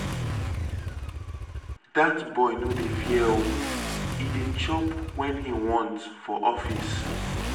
Dat boy no dey fear oo, e dey chop wen he want for office.